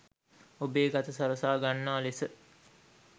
ඔබේ ගත සරසා ගන්නා ලෙස